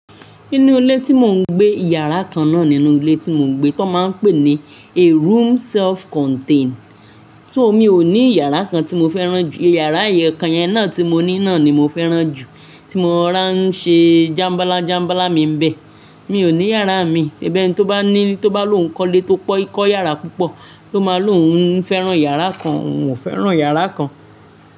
Nínú ilé tí mò ń gbé, iyàrá kan náà nínú ilé tí mò ń gbé tó máa ń pè ní a room self contain. So mi ò ní iyàrá kan tí mo fẹ́ràn jù, iyàrá ẹyọkan náà tí mo ní náà ni mo fẹ́ràn jù tí mo rọra n ṣe jámbalá jámbalá mi ń bẹ. Mi ò ní yàrá mi, ṣebi ẹniti ó bá ní, tó bá lò ń kọ́lé tó pọ́, kó iyàrá púpọ̀ ló máa lò ń fẹ́ràn iyàrá kan, òun ò fẹ́ràn iyàrá kan.